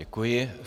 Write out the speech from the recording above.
Děkuji.